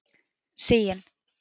Sigyn